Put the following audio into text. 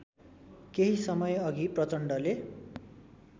केही समयअघि प्रचण्डले